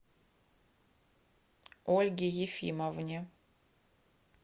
ольге ефимовне